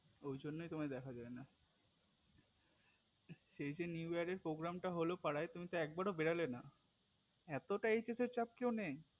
ঐ জন্যই তোমায় দেখা যায়নাই সেই দিন new year এর program টা হলো পাড়ায় তুমি তো একবারো বেরোলেনা এতটাই hs চাপ কেও নেয়